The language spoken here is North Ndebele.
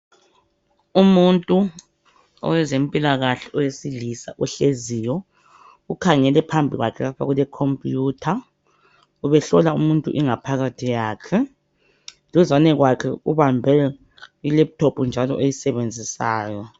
Umuntu owezempilakahle owesilisa ohleziyo ukhangele phambi kwakhe lapho kule Computer ubehlola umuntu ingaphakathi yakhe duzane kwakhe ubambe i laptop njalo oyisebenzisayo